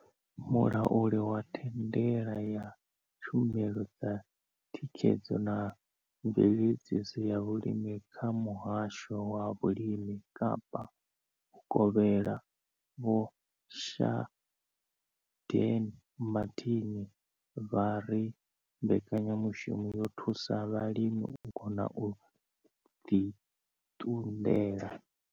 Mulauli wa thandela ya tshumelo dza thikhedzo na mveledziso ya vhulimi kha Muhasho wa Vhulimi Kapa Vhukovhela Vho Shaheed Martin vha ri mbekanya mushumo yo thusa vhalimi u kona u ḓi ṱunḓela.